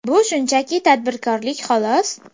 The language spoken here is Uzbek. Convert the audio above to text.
Bu shunchaki tadbirkorlik, xolos.